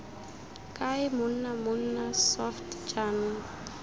kae monna mmona soft jaanong